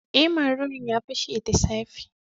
Eh, marurun ya pashe the safe.